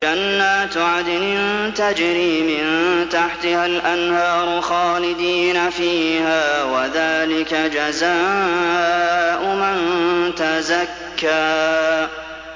جَنَّاتُ عَدْنٍ تَجْرِي مِن تَحْتِهَا الْأَنْهَارُ خَالِدِينَ فِيهَا ۚ وَذَٰلِكَ جَزَاءُ مَن تَزَكَّىٰ